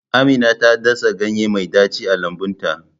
Amina ta dasa ganye mai daci a lambun ta.